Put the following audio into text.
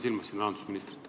Ma pean silmas rahandusministrit.